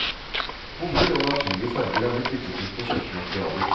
Bomull og naturlige farger har blitt byttet ut med kjøpte materialer.